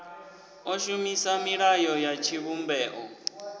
o shumisa milayo ya tshivhumbeo